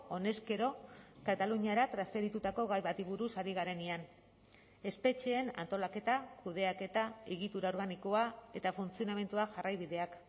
honezkero kataluniara transferitutako gai bati buruz ari garenean espetxeen antolaketa kudeaketa egitura organikoa eta funtzionamendua jarraibideak